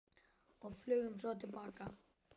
Og flugum svo til baka.